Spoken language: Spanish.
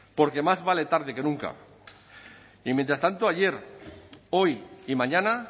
porque más vale tarde que nunca y mientras tanto ayer hoy y mañana